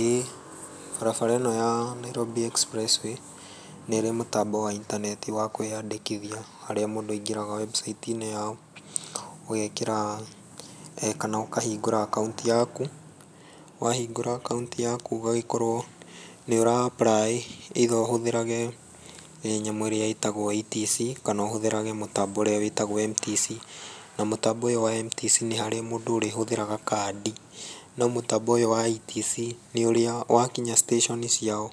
Ĩĩ barabara ĩno ya Nairobi Express way nĩ ĩrĩ mũtambo wa intaneti wa kwĩyandĩkithia harĩa mũndũ aingĩraga website-inĩ yao, ũgekĩra kana ũkahingũra akaunti yaku, wahingũra akaunti yaku ũgagĩkorwo nĩ ũra apply ĩ either ũhũthĩrage nyamũ ĩrĩa ĩtagwo ETC kana ũhũthĩrage mũtambo ũrĩa wĩtagwo MTC, na mũtambo ũyũ wa MTC nĩ harĩa mũndũ ũrĩhũthĩraga kandi, no mũtambo ũyũ wa ETC, nĩ ũrĩa wakinya station ciao,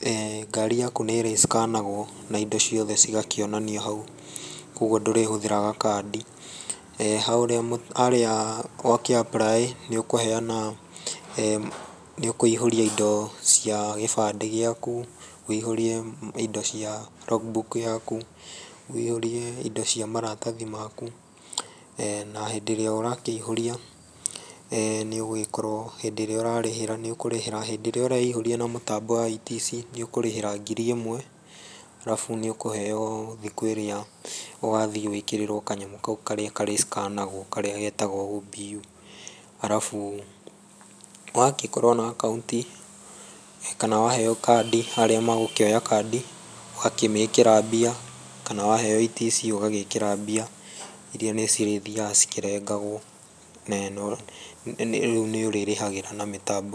eeh ngaari yaku nĩ ĩrĩ scan agwo, na indo ciothe igakĩonanio hau, koguo ndũrĩhũthĩraga kandi, harĩa ũkĩ apply ĩ nĩ ũkũheana, nĩ ũkũihũria indo cia gĩbandĩ gĩaku, wũihũrie indo cia log book yaku, wũihũrie indo cia maratathi maku, na hĩndĩ ĩrĩa ũrakĩihũrĩa, nĩũgũgĩkorwo hĩndĩ ĩrĩa ũrarĩhĩra nĩ ũkũrĩhĩra, hĩndĩ ĩrĩa ũraihũria na mũtambo wa ETC nĩ ũkũrĩhĩra ngiri ĩmwe, arabu nĩ ũkũheo thikũ ĩrĩa ũgathiĩ wĩkĩrĩrwo kanyamũ kau karĩa karĩ scan agwo karĩa getagwo OBU, arabu wagĩkorwo na akaunti, kana waheo kandi harĩa magũkioya kandi, ũgakĩmĩkĩra mbia kana waheo ETC ũgagĩkĩra mbia irĩa nĩ cirĩthiaga cikĩrengagwo na rĩu nĩ ũrĩrĩhagĩra na mĩtambo.